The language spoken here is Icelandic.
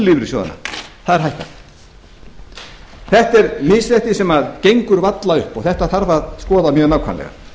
lífeyrissjóðanna það er hækkað þetta er misrétti sem gengur varla upp og þetta þarf að skoða mjög nákvæmlega